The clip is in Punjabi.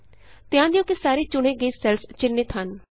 ਧਿਆਨ ਦਿਉ ਕਿ ਸਾਰੇ ਚੁਣੇ ਗਏ ਸੈੱਲਸ ਚਿੰਨ੍ਹਿਤ ਹਨ